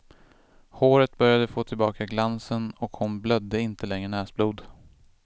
Håret började få tillbaka glansen och hon blödde inte längre näsblod.